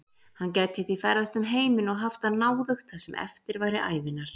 Hann gæti því ferðast um heiminn og haft það náðugt það sem eftir væri ævinnar.